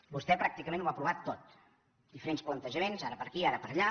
vostè pràcticament ho ha provat tot diferents plantejaments ara per aquí ara per allà